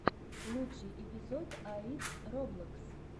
лучший эпизод аид роблокс